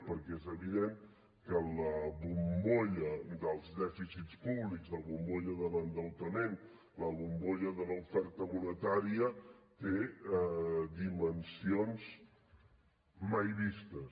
perquè és evident que la bombolla dels dèficits públics la bombolla de l’endeutament la bombolla de l’oferta monetària té dimensions mai vistes